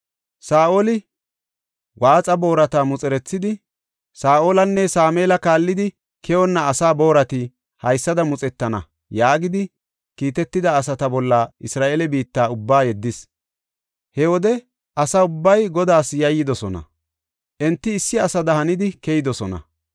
Saa7oli waaxa boorata muxerethidi, “Saa7olanne Sameela kaallidi, keyonna asa boorati haysada muxetana” yaagidi kiitetida asata bolla Isra7eele biitta ubba yeddis. He wode asa ubbay Godaas yayyidosona; enti issi asada hanidi keyidosona.